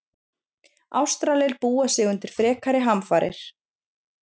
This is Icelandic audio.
Ástralir búa sig undir frekari hamfarir